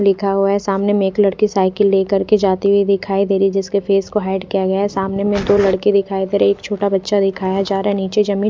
लिखा हुआ है सामने में एक लड़की साइकिल लेकर के जाती हुई दिखाई दे रही जिसके फेस को हाइड किया गया सामने में दो लड़के दिखाई दे रहे एक छोटा बच्चा दिखाया जा रहा है नीचे जमीन--